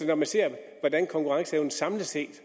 når man ser på hvordan konkurrenceevnen samlet set